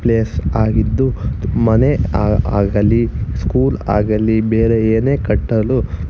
S ಆಗಿದ್ದು ಮನೆ ಆ ಆಗಲಿ ಸ್ಕೂಲ್ ಆಗಲಿ ಬೇರೆ ಏನೆ ಕಟ್ಟಲು --